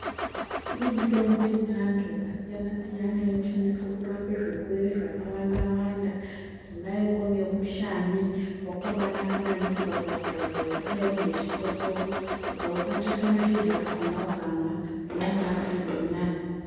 Kune mitombo yechiantu yakasiyana siyana inoshandiswa kurapa zvirwere zvakawanda wanda kudaiko nemushani wakabanaka maningi pakurapa zvakadai nechikosoro. Ukawukwatisa mashizha akona ukamwa unobazwe zviri nani.